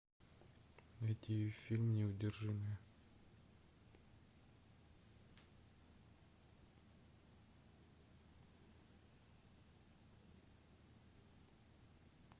найти фильм неудержимые